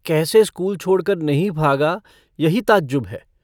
कैसे स्कूल छोड़कर नहीं भागा यही ताज्जुब है।